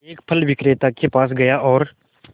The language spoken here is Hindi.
एक फल विक्रेता के पास गया और